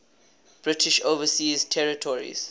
british overseas territories